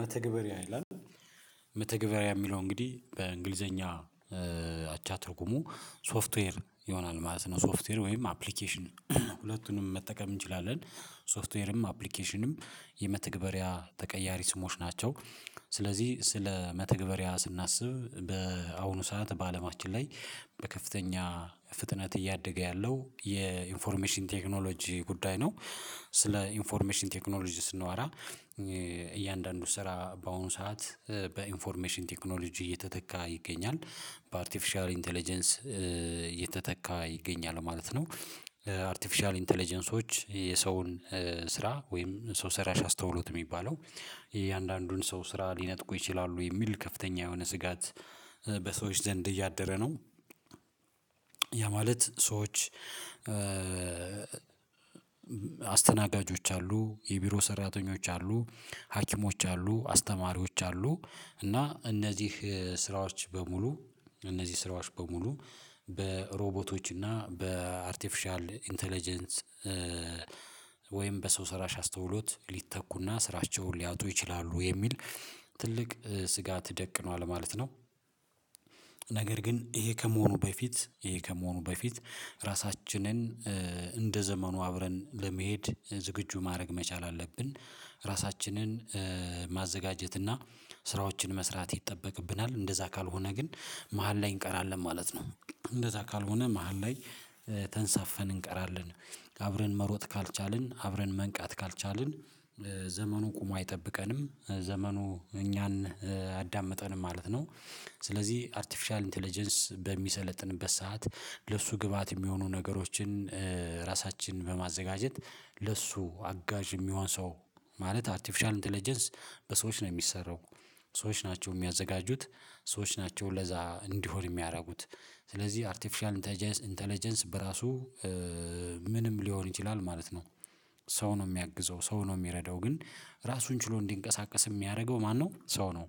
መተግበሪያ ይላል። መተግበሪያ የሚለው እንግዲህ በእንግሊዘኛ አቻ ትርጉሙ ሶፍትዌር ይሆናል ማለት ነው። ሶፍትዌር ወይም አፕሊኬሽን ሁለቱንም መጠቀም እንችላለን ሶፍትዌርም አፕሊኬሽንም የመተግበሪያ ተቀያሪ ስሞች ናቸው። ስለዚህ ስለ መተግበሪያ ስናስብ በአሁኑ ሰዓት በአለማችን ላይ በከፍተኛ ፍጥነት እያደገ ያለው የኢንፎርሜሽን ቴክኖሎጂ ጉዳይ ነው። ስለ ኢንፎርሜሽን ቴክኖሎጂ ስንዋራ። እያንዳንዱ ስራ በአሁኑ ሰዓት በኢንፎርሜሽን ቴክኖሎጂ እየተተካ ይገኛል በአርቲፊሻል ኢንተለጀንስ እየተተካ ይገኛል ማለት ነው። አርቲፊሻል ኢንተለጀንሶች የሰውን ስራ ወይም ሰው ስራሽ አስተውሎት የሚባለው የእያንዳንዱን ሰው ስራ ሊነጥቁ ይችላሉ የሚል ከፍተኛ የሆነ ስጋት በሰዎች ዘንድ እያደረ ነው። ያ ማለት ሰዎች አስተናጋጆች አሉ የቢሮ ሰራተኞች አሉ ሀኪሞች አሉ አስተማሪዎች አሉ እና እነዚህ ስራዎች በሙሉ እነዚህ ስራዎች በሙሉ በሮቦቶች እና በአርቲፊሻል ኢንተለጀንስ ወይም በሰው ስራሽ አስተውሎት ሊተኩና ስራቸውን ሊያጡ ይችላሉ የሚል ትልቅ ስጋት ደቅኗል ማለት ነው። ነገር ግን ይሄ ከመሆኑ በፊት ይሄ ከመሆኑ በፊት ራሳችንን እንደ ዘመኑ አብረን ለመሄድ ዝግጁ ማድረግ መቻል አለብን። ራሳችንን ማዘጋጀት እና ስራዎችን መስራት ይጠበቅብናል እንደዛ ካልሆነ ግን መሃል ላይ እንቀራለን ማለት ነው። እንደዛ ካልሆነ መሃል ላይ ተንሳፈን እንቀራለን። አብረን መሮጥ ካልቻልን አብረን መንቃት ካልቻልን ዘመኑ ቁሞ አይጠብቀንም ዘመኑ እኛን አያዳምጠንም ማለት ነው። ስለዚህ አርቲፊሻል ኢንተለጀንስ በሚሰለጥንበት ሰዓት ለእሱ ግብአት የሚሆኑ ነገሮችን ራሳችንን በማዘጋጀት ለሱ አጋዥ የሚሆን ሰው ማለት አርቲፊሻል ኢንተለጀንስ በሰዎች ነው የሚሰራው። ሰዎች ናቸው የሚያዘጋጁት ሰዎች ናቸው ለዛ እንዲሆን የሚያደርጉት ስለዚህ አርቲፊሻል ኢንተለጀንስ በራሱ ምንም ሊሆን ይችላል ማለት ነው። ሰው ነው የሚያግዘው ሰው ነው የሚረዳው ግን ራሱን ችሎ እንዲንቀሳቀስ የሚያደርገው ማነው? ሰው ነው።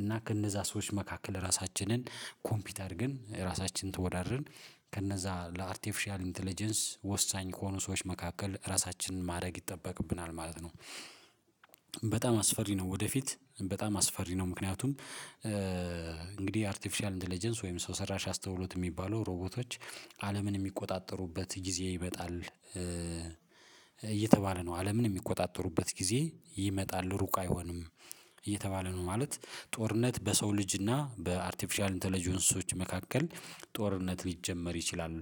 እና ከነዛ ሰዎች መካከል ራሳችንን ኮምፒውት አድርገን ራሳችንን ተወዳድርን ከነዛ ለአርቴፊሻል ኢንተለጀንስ ወሳኝ ከሆኑ ሰዎች መካከል ራሳችንን ማድረግ ይጠበቅብናል ማለት ነው። በጣም አስፈሪ ነው ወደፊት በጣም አስፈሪ ነው። ምክንያቱም እንግዲህ አርቲፊሻል ኢንተለጀንስ ወይም ሰው ሰራሽ አስተውሎት የሚባሉ ሮቦቶች አለምን የሚቆጣጠሩበት ጊዜ ይመጣል። እየተባለ ነው አለምን የሚቆጣጠሩበት ጊዜ ይመጣል ሩቅ አይሆንም እየተባለ ነው ማለት። ጦርነት በሰው ልጅ በአርቲፊሻል ኢንተለጀንሶች መካከል ጦርነት ሊጀመር ይችላል።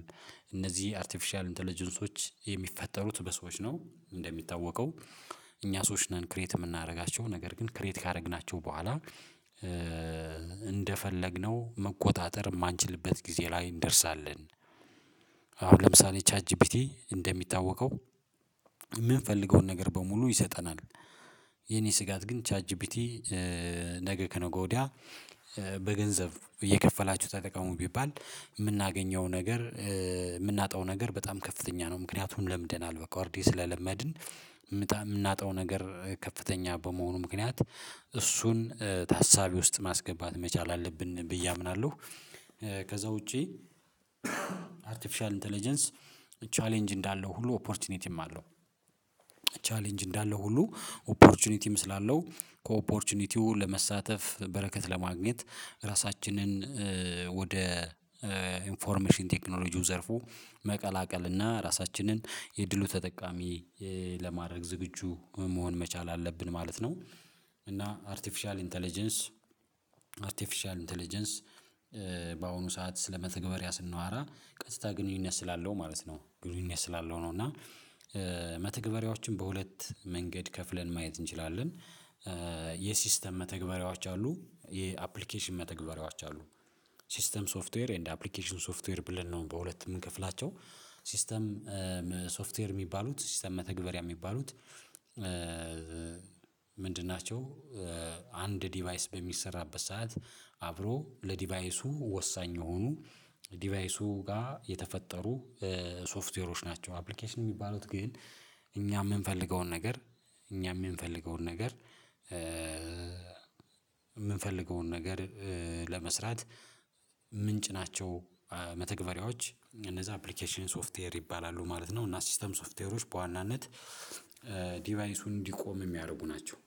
እነዚህ አርቲፊሻል ኢንተለጀንሶች የሚፈጠሩት በሰዎች ነው እንደሚታወቀው። እኛ ሰዎች ነን ክሬት የምናደርጋቸው ነገር ግን ክሬት ካደረግናቸው በኋላ እንደፈለግነው መቆጣጠር የማንችልበት ጊዜ ላይ እንደርሳለን። አሁን ለምሳሌ ቻት ጂፒቲ እንደሚታወቀው የምንፈልገውን ነገር በሙሉ ይሰጠናል። የኔ ስጋት ግን ቻት ጂፒቲ ነገ ከነገ ወዲያ በገንዘብ እየከፈላችሁ ተጠቀሙ ቢባል የምናገኘው ነገር የምናጣው ነገር በጣም ከፍተኛ ነው። ምክንያቱን ለምደናል በቃ ወርዴ ስለለመድን የምናጣው ነገር ከፍተኛ በመሆኑ ምክንያት እሱን ታሳቢ ውስጥ ማስገባት መቻል አለብን ብዬ አምናለሁ። ከዛ ውጪ አርቲፊሻል ኢንተለጀንስ ቻሌንጅ እንዳለው ሁሉ ኦፖርቹኒቲም አለው። ቻሌንጅ እንዳለው ሁሉ ኦፖርቹኒቲም ስላለው ከኦፖርቹኒቲው ለመሳተፍ በረከት ለማግኘት ራሳችንን ወደ ኢንፎርሜሽን ቴክኖሎጂው ዘርፉ መቀላቀል እና ራሳችንን የድሉ ተጠቃሚ ለማድረግ ዝግጁ መሆን መቻል አለብን ማለት ነው። እና አርቲፊሻል ኢንተለጀንስ አርቲፊሻል ኢንተለጀንስ በአሁኑ ሰዓት ስለመተግበሪያ ስናወራ ቀጥታ ግንኙነት ስላለው ማለት ነው ግንኙነት ስላለው ነው። እና መተግበሪያዎችን በሁለት መንገድ ከፍለን ማየት እንችላለን። የሲስተም መተግበሪያዎች አሉ የአፕሊኬሽን መተግበሪያዎች አሉ። ሲስተም ሶፍትዌር ኤንድ አፕሊኬሽኑ ሶፍትዌር ብለን ነው በሁለት የምንከፍላቸው ሲስተም ሶፍትዌር የሚባሉት ሲስተም መተግበሪያ የሚባሉት። ምንድን ናቸው? አንድ ዲቫይስ በሚሰራበት ሰዓት አብሮ ለዲቫይሱ ወሳኝ የሆኑ ዲቫይሱ ጋር የተፈጠሩ ሶፍትዌሮች ናቸው። አፕሊኬሽን የሚባሉት ግን እኛ የምንፈልገውን ነገር እኛ የምንፈልገውን ነገር የምንፈልገውን ነገር ለመስራት ምንጭ ናቸው። መተግበሪያዎች እነዛ አፕሊኬሽን ሶፍትዌር ይባላሉ ማለት ነው። እና ሲስተም ሶፍትዌሮች በዋናነት ዲቫይሱን እንዲቆም የሚያደርጉ ናቸው